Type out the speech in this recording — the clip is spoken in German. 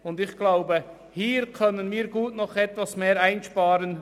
Ich denke, hier können wir gut noch etwas mehr einsparen.